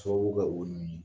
Sababu bɛ